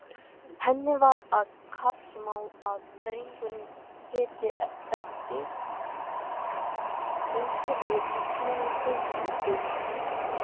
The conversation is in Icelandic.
Henni var það kappsmál að drengurinn héti eftir einhverjum í sinni fjölskyldu.